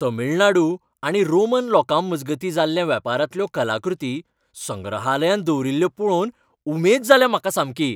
तमीळनाडू आनी रोमन लोकांमजगतीं जाल्ल्या वेपारांतल्यो कलाकृती संग्रहालयांत दवरील्ल्यो पळोवन उमेद जाल्या म्हाका सामकी.